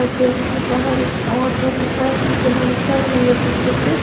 Church के बाहर एक ऑटो दिख रहा है जिसको लाइट जल रही है पीछे से।